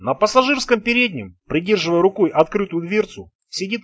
на пассажирском переднем придерживая рукой открытую дверцу сидит